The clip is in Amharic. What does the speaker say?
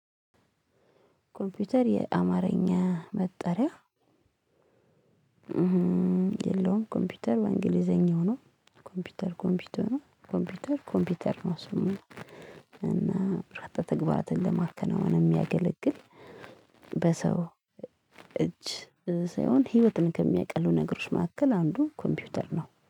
ኮምፒውተር የአማርኛ መጠሪያ የለውም። ኮምፒውተር በእንግሊዘኛ ነው። ኮምፒውተር ኮምፒውተር ኮምፒውተር ነው። እሱም እና ረጠጥ ተግባራትን ለማከናወን የሚያገለግል። በሰው እጅ ሳይሆን ህይወትን ከሚያቀሉ ነገሮች መካከል አንዱ ኮምፒውተር ነው